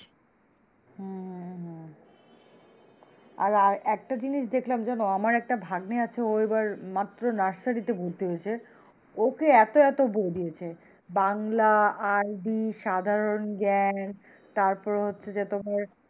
আর আর একটা জিনিস দেখলাম জানো আমার একটা ভাগ্নে আছে, ও এবার মাত্র নার্সারি তে ভর্তি হয়েছে ওকে এত এত বই দিয়েছে, বাংলা, ID সাধারণ জ্ঞান তারপর হচ্ছে যে তোমার,